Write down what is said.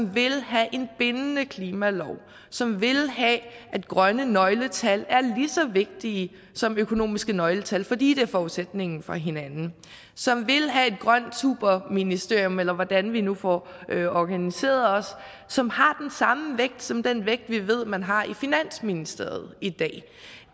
vil have en bindende klimalov som vil have at grønne nøgletal er lige så vigtige som økonomiske nøgletal fordi det er forudsætningen for hinanden som vil have et grønt superministerium eller hvordan vi nu får organiseret os som har den samme vægt som den vægt vi ved man har i finansministeriet i dag